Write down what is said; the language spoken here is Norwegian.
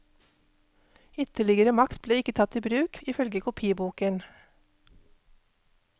Ytterligere makt ble ikke tatt i bruk, ifølge kopiboken.